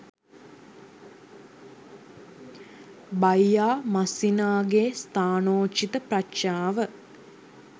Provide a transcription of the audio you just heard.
බයියා මස්සිනාගේ ස්ථානෝචිත ප්‍රඥාව